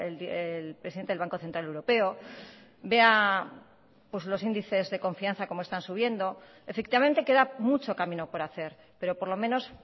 el presidente del banco central europeo vea pues los índices de confianza como están subiendo efectivamente queda mucho camino por hacer pero por lo menos